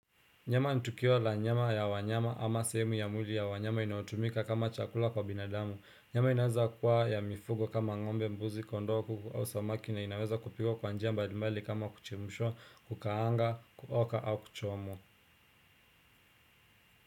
Nyama ni tukio la nyama ya wanyama ama sehemu ya mwili ya wanyama inayotumika kama chakula kwa binadamu. Nyama inaweza kuwa ya mifugo kama ngombe, mbuzi, kondoku, au samaki na inaweza kupikwa kwa njia mbadimbali kama kuchemshwa, kukaanga, kuoka au kuchomwa.